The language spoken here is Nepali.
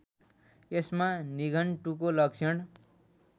यसमा निघण्टुको लक्षण